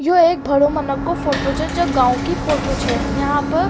यो एक भाड़ो मनो को फोटो छ जो की गांव की फोटो छ यहाँ प --